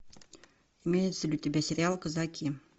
имеется ли у тебя сериал казаки